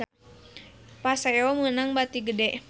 Paseo meunang bati gede